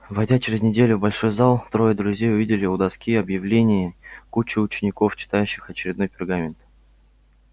войдя через неделю в большой зал трое друзей увидели у доски объявлений кучку учеников читающих очередной пергамент